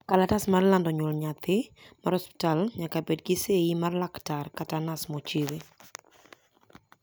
kalatas mar lando nyuol nathi mar osiptal nyaka bed gi seyi mar laktar kata nas mochiwe